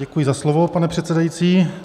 Děkuji za slovo, pane předsedající.